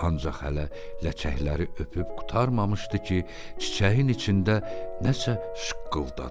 Ancaq hələ ləkəkləri öpüb qurtarmamışdı ki, çiçəyin içində nəsə şıqqıldadı.